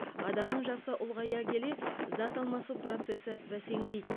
адамның жасы ұлғая келе зат алмасу процесі бәсеңдейді